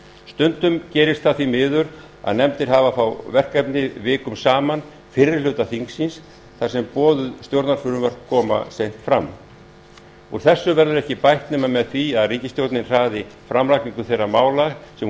stundum gerist það því miður að nefndir hafa fá verkefni vikum saman fyrri hluta þings þar sem boðuð stjórnarfrumvörp koma seint fram úr þessu verður ekki bætt nema með því að ríkisstjórnin hraði framlagningu þeirra mála sem hún